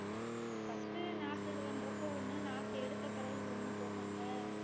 first உ நான் இது பண்றப்போ ஒண்ணு நாத்து எடுத்த பிறகு ஒண்ணு போடுறோம்ல